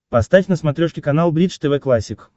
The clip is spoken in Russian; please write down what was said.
поставь на смотрешке канал бридж тв классик